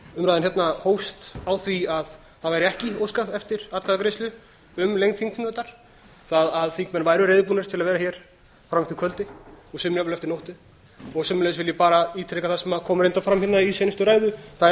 umræðan hérna hófst á því að það væri ekki óskað eftir atkvæðagreiðslu um lengd þingfundar það að þingmenn væru reiðubúnir til að vera hér fram eftir kvöldi og sömuleiðis fram eftir nóttu sömuleiðis vil ég ítreka það sem kom reyndar fram hérna í seinustu ræðu það er